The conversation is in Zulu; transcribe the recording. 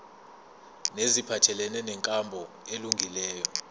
neziphathelene nenkambo elungileyo